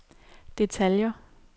detaljer